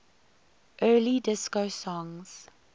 early disco songs